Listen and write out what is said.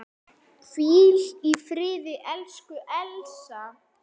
Hvíl í friði, elsku Elsa.